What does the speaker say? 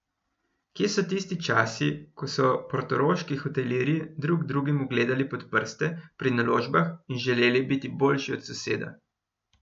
Kje so tisti časi, ko so portoroški hotelirji drug drugemu gledali pod prste pri naložbah in želeli biti boljši od soseda!